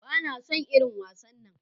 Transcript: Bana son irin wasannan.